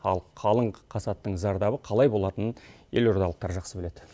ал қалың қасаттың зардабы қалай болатынын елордалықтар жақсы біледі